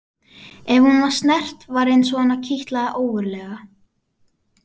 Ef hún var snert var eins og hana kitlaði ógurlega.